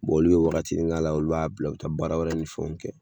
Bɔn olu be wagatini k'a la olu b'a bila u be taa baara wɛrɛ ni fɛnw kɛ